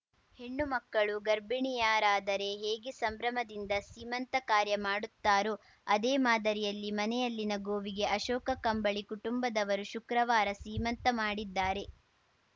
ಹೆಣ್ಣು ಮಕ್ಕಳು ಗರ್ಭಿಣಿಯರಾದರೆ ಹೇಗೆ ಸಂಭ್ರಮದಿಂದ ಸೀಮಂತ ಕಾರ್ಯ ಮಾಡುತ್ತಾರೋ ಅದೇ ಮಾದರಿಯಲ್ಲಿ ಮನೆಯಲ್ಲಿನ ಗೋವಿಗೆ ಅಶೋಕ ಕಂಬಳಿ ಕುಟುಂಬದವರು ಶುಕ್ರವಾರ ಸೀಮಂತ ಮಾಡಿದ್ದಾರೆ